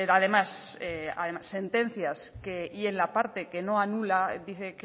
además sentencias y en la parte que no anula dice